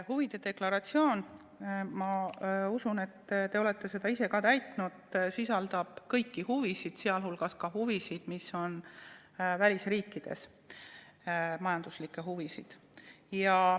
Huvide deklaratsioon – ma usun, et te olete seda ka ise täitnud – sisaldab kõiki huvisid, sealhulgas ka neid huvisid, mis on välisriikides, majanduslikke huvisid.